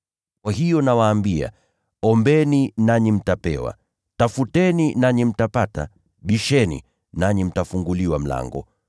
“Kwa hiyo nawaambia: Ombeni nanyi mtapewa; tafuteni nanyi mtapata; bisheni nanyi mtafunguliwa mlango.